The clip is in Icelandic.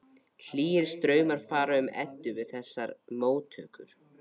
Hlýir straumar fara um Eddu við þessar móttökur.